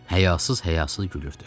Həyasız-həyasız gülürdü.